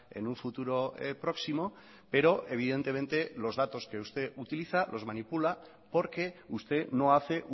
en un futuro próximo pero evidentemente los datos que usted utiliza los manipula porque usted no hace